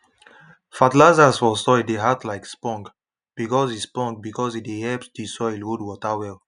fertilizers for soil dey act like spong because e spong because e dey help the soil hold water well